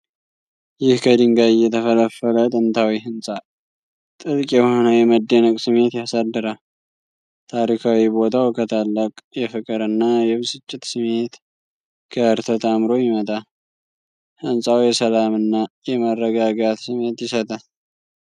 ይህ ከድንጋይ የተፈለፈለ ጥንታዊ ህንፃ ጥልቅ የሆነ የመደነቅ ስሜት ያሳድራል። ታሪካዊ ቦታው ከታላቅ የፍቅር እና የብስጭት ስሜት ጋር ተጣምሮ ይመጣል። ሕንፃው የሰላምና የመረጋጋት ስሜት ይሰጣል።